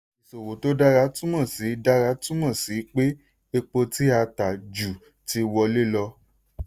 ìṣòwò tó dára túmọ̀ sí dára túmọ̀ sí pé epo tí a ta ju ti wọlé lọ.